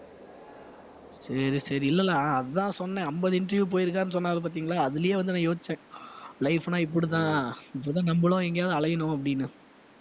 சரி சரி இல்லல்ல அஹ் அதான் சொன்னேன் அம்பது interview போயிருக்காருன்னு சொன்னாரு பாத்தீங்களா அதிலேயே வந்து நான் யோசிச்சேன் life ன்னா இப்படித்தான் இப்படிதான் நம்மளும் எங்கேயாவது அலையணும் அப்படின்னு